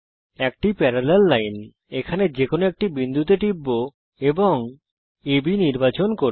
একটি সমান্তরাল রেখা এখানে যে কোনো একটি বিন্দুতে টিপব এবং আব নির্বাচন করব